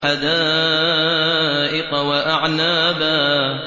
حَدَائِقَ وَأَعْنَابًا